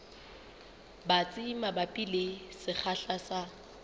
batsi mabapi le sekgahla sa